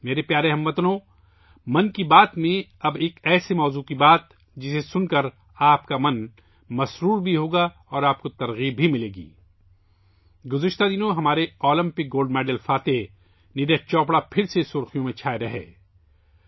میرے پیارے ہم وطنو، 'من کی بات' میں، اب ایک ایسے موضوع پر بات کرتے ہیں جو آپ کو پرجوش بنائے گا اور متاثر کرے گا